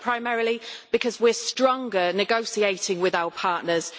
and that is primarily because we are stronger negotiating with our partners